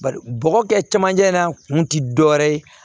Bari bɔgɔ kɛ cɛmancɛ in na kun ti dɔwɛrɛ ye